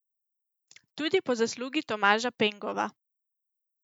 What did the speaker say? Tudi po zaslugi Tomaža Pengova.